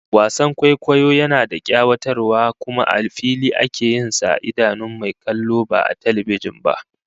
Wasan kwaikwayo yana da kayatarwa kuma a fili ake yin sa a idanun mai kallo ba a talbijin ba